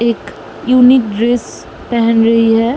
एक unique dress पेहेन रही है।